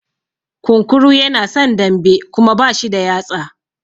Kunkuru yana son dambe Kuma bashi da yatsa.